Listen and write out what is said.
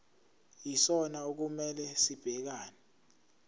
yisona okumele sibhekane